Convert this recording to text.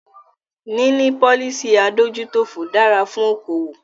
Níní policy adójútòfò dára fún okoòwò.